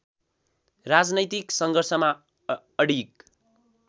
राजनैतिक सङ्घर्षमा अडिग